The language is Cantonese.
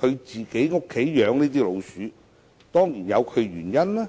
在自己家中"養老鼠"，當然有其原因。